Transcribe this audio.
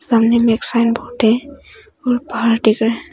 सामने में एक साइन बोर्ड है और पहाड़ दिख रहा--